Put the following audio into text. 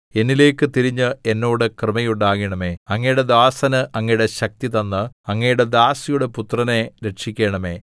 എന്നിലേക്കു തിരിഞ്ഞ് എന്നോട് കൃപയുണ്ടാകണമേ അങ്ങയുടെ ദാസന് അങ്ങയുടെ ശക്തി തന്ന് അങ്ങയുടെ ദാസിയുടെ പുത്രനെ രക്ഷിക്കണമേ